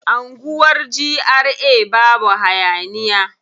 Anguwar GRA babu hayaniya.